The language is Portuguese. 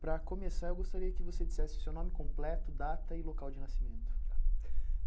Para começar, eu gostaria que você dissesse o seu nome completo, data e local de nascimento.